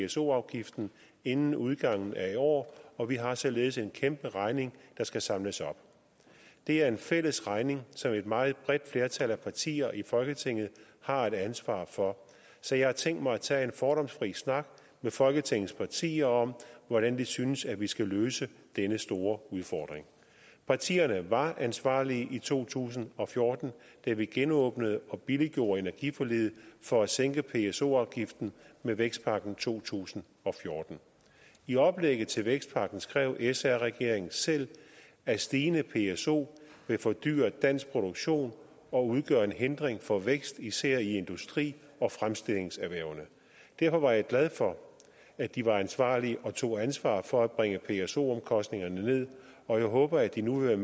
pso afgiften inden udgangen af i år og vi har således en kæmpe regning der skal samles op det er en fælles regning som et meget bredt flertal af partier i folketinget har et ansvar for så jeg har tænkt mig at tage en fordomsfri snak med folketingets partier om hvordan de synes at vi skal løse denne store udfordring partierne var ansvarlige i to tusind og fjorten da vi genåbnede og billiggjorde energiforliget for at sænke pso afgiften med vækstpakken i to tusind og fjorten i oplægget til vækstpakken skrev sr regeringen selv at stigende pso vil fordyre dansk produktion og udgøre en hindring for vækst især i industri og fremstillingserhvervene derfor var jeg glad for at de var ansvarlige og tog ansvar for at bringe pso omkostningerne ned og jeg håber at de nu vil